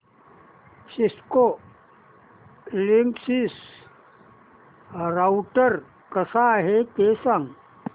Cisco Linksys router कसा आहे ते सांग